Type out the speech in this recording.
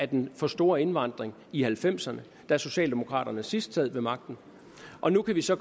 den for store indvandring i nitten halvfemserne da socialdemokraterne sidst havde magten og nu kan vi så